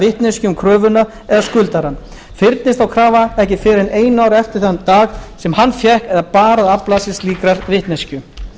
vitneskju um kröfuna eða skuldarann fyrnist þá krafa ekki fyrr en einu ári eftir þann dag sem hann fékk eða bar að afla sér slíkrar vitneskju